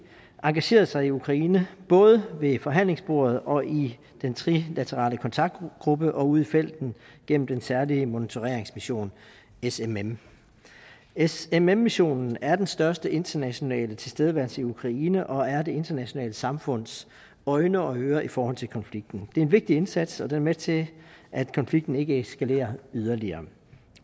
engageret sig i ukraine både ved forhandlingsbordet og i den trilaterale kontaktgruppe og ude i felten gennem den særlige monitoreringsmission smm smm missionen er den største internationale tilstedeværelse i ukraine og er det internationale samfunds øjne og ører i forhold til konflikten det er en vigtig indsats og den er med til at konflikten ikke eskalerer yderligere